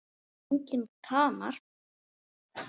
Það var enginn kamar.